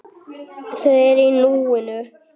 Hvíldu í friði, elsku amma.